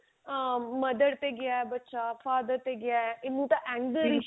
ਆਂ mother ਤੇ ਗਿਆ ਬੱਚਾ father ਤੇ ਗਿਆ into the anger issue